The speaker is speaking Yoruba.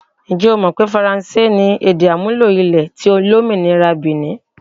Ǹjẹ́ o mọ̀ pé faransé ni èdè-àmúlò ilẹ̀ olómìnira ti Bìnì?